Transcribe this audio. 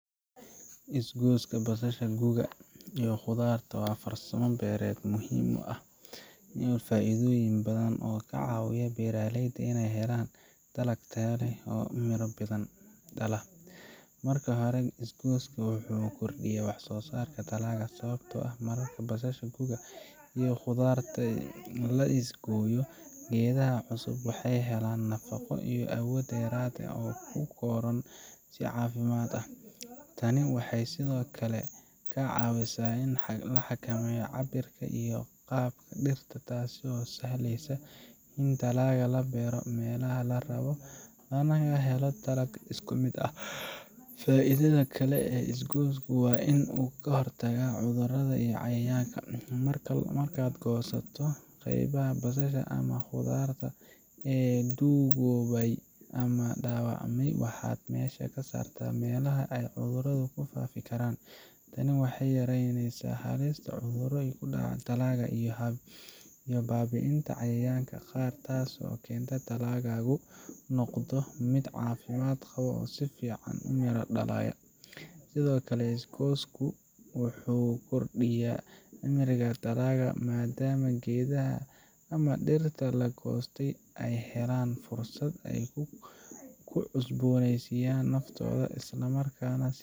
Is-gooska basasha guga iyo khudradda waa farsamo beereed muhiim ah oo leh faa’iidooyin badan oo ka caawinaya beeraleyda inay helaan dalag tayo leh oo miro badan. Marka hore, is-gooska wuxuu kordhiyaa wax-soosaarka dalagga, sababtoo ah marka basasha guga iyo khudradda la is-gooyo, geedaha cusub waxay helaan nafaqo iyo awood dheeraad ah oo ay ku koraan si caafimaad leh. Tani waxay sidoo kale ka caawisaa in la xakameeyo cabbirka iyo qaabka dhirta, taasoo sahleysa in dalagga la beero meelaha la rabo lana helo dalag isku mid ah. Faa’iidada kale ee is-goosku waa in uu ka hortagaa cudurrada iyo cayayaanka. Markaad goosato qaybaha basasha ama khudradda ee duugoobay ama dhaawacmay, waxaad meesha ka saartaa meelaha ay cudurradu ku faafi karaan. Tani waxay yaraynaysaa halista cudurro ku dhaca dalagga iyo baabi’inta cayayaanka qaar, taasoo keenta in dalaggaagu noqdo mid caafimaad qaba oo si fiican u miro dhalaya. Sidoo kale, is-goosku wuxuu kordhiyaa cimriga dalagga, maadaama geedaha ama dhirta la goostay ay helaan fursad ay ku cusboonaysiiyaan naftooda, isla markaana